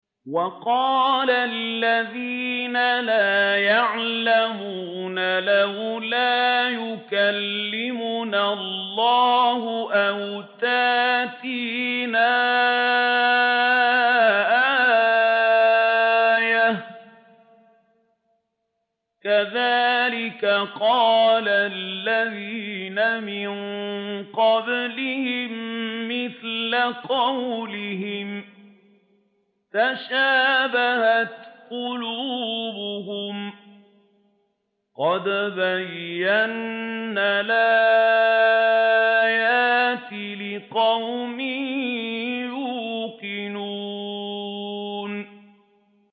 وَقَالَ الَّذِينَ لَا يَعْلَمُونَ لَوْلَا يُكَلِّمُنَا اللَّهُ أَوْ تَأْتِينَا آيَةٌ ۗ كَذَٰلِكَ قَالَ الَّذِينَ مِن قَبْلِهِم مِّثْلَ قَوْلِهِمْ ۘ تَشَابَهَتْ قُلُوبُهُمْ ۗ قَدْ بَيَّنَّا الْآيَاتِ لِقَوْمٍ يُوقِنُونَ